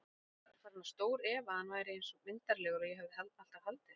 Ég var farin að stórefa að hann væri eins myndarlegur og ég hafði alltaf haldið.